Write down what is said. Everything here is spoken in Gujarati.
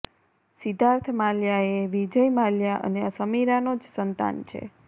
સિદ્ઘાર્થ માલ્યા એ વિજય માલ્યા અને સમીરાનો જ સંતાન છે